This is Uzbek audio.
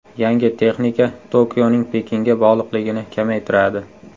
Yangi texnika Tokioning Pekinga bog‘liqligini kamaytiradi.